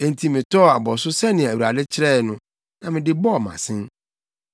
Enti metɔɔ abɔso sɛnea Awurade kyerɛe no, na mede bɔɔ mʼasen.